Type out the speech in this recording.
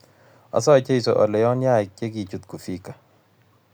asae jeso ale ko yon yaik che kichut kufika